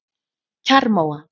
Kjarrmóa